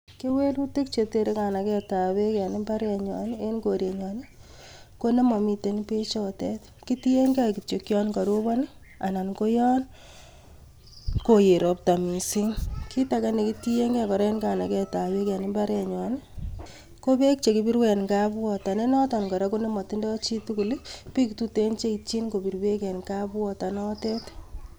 Kewelutik chetere kanagetab beek en imbarenyoon i,anan ko en korenyon konemomiten beechotet, kitienge kityok yon koroobon anan koyon koyeet robta missing, kitage kora nekitiengei en kanagetab beel en mbarenyon I,kobek chekibiruu en kapwater nenotet kora konemotindoi chitugul, ak biik tuten cheityiin kobir beek en kapwater notet